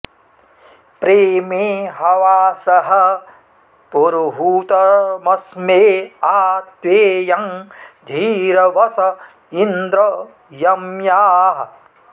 प्रेमे हवा॑सः पुरुहू॒तम॒स्मे आ त्वे॒यं धीरव॑स इन्द्र यम्याः